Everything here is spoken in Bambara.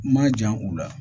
Ma jan u la